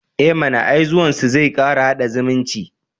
E mana, ai zuwansu zai kara haɗa zumunci.